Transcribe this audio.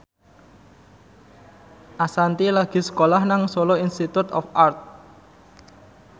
Ashanti lagi sekolah nang Solo Institute of Art